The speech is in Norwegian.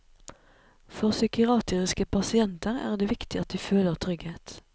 For psykiatriske pasienter er det viktig at de føler trygghet.